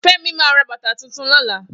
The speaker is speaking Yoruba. Femi ma ra bàtà tuntun lọ́la